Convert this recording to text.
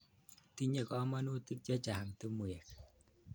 Tinye kamanutik che chang' timwek.